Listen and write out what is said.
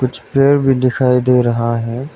कुछ पेड़ भी दिखाई दे रहा है।